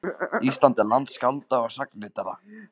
Ísland er land skálda og sagnaritara.